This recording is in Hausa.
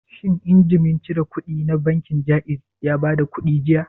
Shin injimin cire kuɗi na bankin Jaiz ya bada kuɗi jiya?